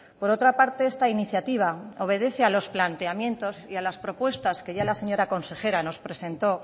por otra parte esta iniciativa obedece a los planteamientos y a las propuestas que ya la señora consejera nos presentó